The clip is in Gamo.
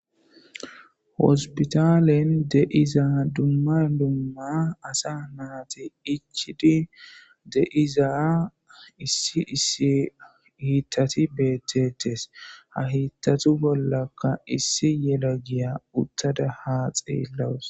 Hospitalen deiza dumma dumma asa naati ichidi deiza issi issi hiittati beettettes ha hiittatu bollaka issi yela giya uttada ha xeellawus.